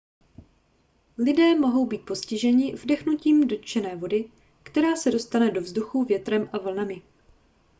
lidé mohou být postiženi vdechnutím dotčené vody která se dostane do vzduchu větrem a vlnami